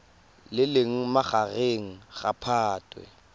le leng magareng ga phatwe